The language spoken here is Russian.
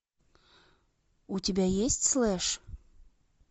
у тебя есть слэш